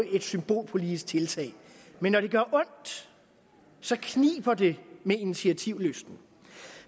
er et symbolpolitisk tiltag men når det gør ondt så kniber det med initiativlysten